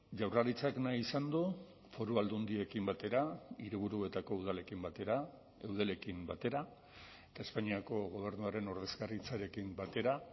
jaurlaritzak nahi izan du foru aldundiekin batera hiriburuetako udalekin batera eudelekin batera eta espainiako gobernuaren ordezkaritzarekin batera